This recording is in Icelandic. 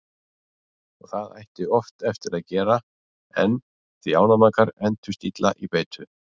Og það ætti oft eftir að gera enn því ánamaðkar entust illa í beitu.